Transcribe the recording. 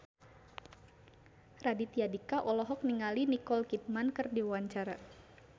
Raditya Dika olohok ningali Nicole Kidman keur diwawancara